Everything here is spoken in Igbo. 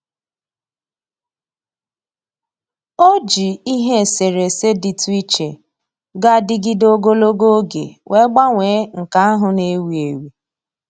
O ji ihe eserese dịtụ iche ga-adịgịde ogologo oge wee gbanwee nke ahụ na-ewi ewi